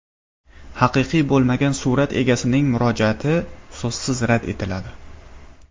Haqiqiy bo‘lmagan surat egasining murojaati so‘zsiz rad etiladi.